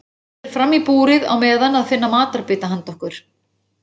Ég fer fram í búrið á meðan að finna matarbita handa okkur.